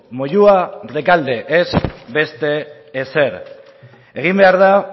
moyua rekalde ez beste ezer egin behar da